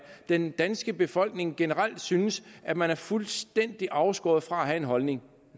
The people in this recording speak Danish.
den danske befolkning generelt synes at man er fuldstændig afskåret fra at have en holdning